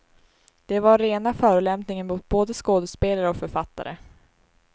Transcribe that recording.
Det var rena förolämpningen mot både skådespelare och författare.